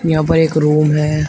यहां पर एक रूम है।